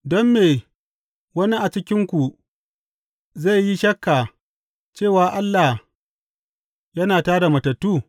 Don me wani a cikinku zai yi shakka cewa Allah yana tā da matattu?